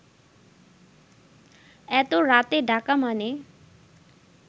এত রাতে ডাকা মানে